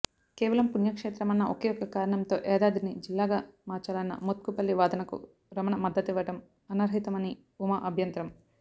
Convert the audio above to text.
కేవలం పుణ్యక్షేత్రమన్న ఒకేఒక్క కారణంతో యాదాద్రిని జిల్లాగా మార్చాలన్న మోత్కుపల్లి వాదనకు రమణ మద్దతునివ్వడం అర్థరహితమ ని ఉమా అభ్యంతరం